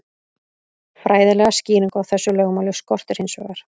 Fræðilega skýringu á þessu lögmáli skorti hins vegar.